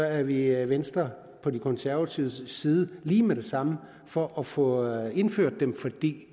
er vi i venstre på de konservatives side lige med det samme for at få indført dem for det